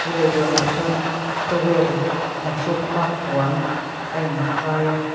leihlawnah chuan towel inhrukna puan a inkhai a.